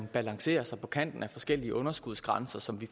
balanceres på kanten af forskellige underskudsgrænser som vi